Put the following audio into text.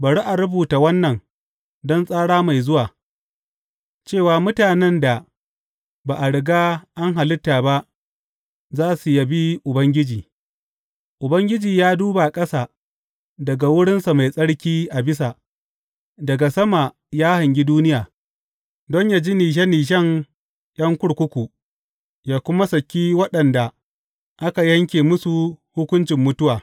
Bari a rubuta wannan don tsara mai zuwa, cewa mutanen da ba a riga an halitta ba za su yabi Ubangiji, Ubangiji ya duba ƙasa daga wurinsa mai tsarki a bisa, daga sama ya hangi duniya, don yă ji nishe nishen ’yan kurkuku yă kuma saki waɗanda aka yanke musu hukuncin mutuwa.